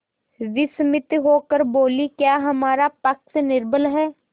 विस्मित होकर बोलीक्या हमारा पक्ष निर्बल है